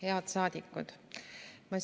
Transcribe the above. Head saadikud!